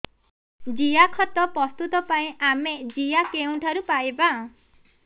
ଜିଆଖତ ପ୍ରସ୍ତୁତ ପାଇଁ ଆମେ ଜିଆ କେଉଁଠାରୁ ପାଈବା